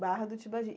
Barra do Tibagi.